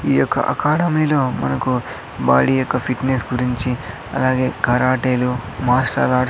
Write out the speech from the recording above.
ఈ యొక్క అకాడమీ లో మనకు బాడీ యొక్క ఫిటినెస్ గురించి అలాగే కారాటీలు మార్షల్ ఆర్ట్స్ .